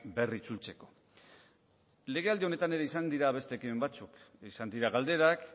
berritzultzeko legealdi honetan ere izan dira beste ekimen batzuk izan dira galderak